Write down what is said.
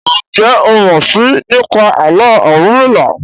Njé o mọ sii nípa Àló̩ Orunmila?